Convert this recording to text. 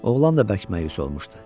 Oğlan da bərk məyus olmuşdu.